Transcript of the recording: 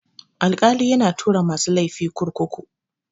Alkali yana tura masu laifi kurkuku.